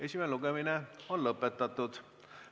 Esimene lugemine on lõpetatud.